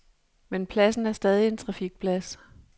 Men pladsen er stadig en trafikplads.